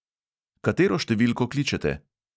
Katero številko kličete?